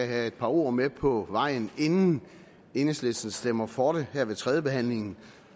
have et par ord med på vejen inden enhedslisten stemmer for det her ved tredjebehandlingen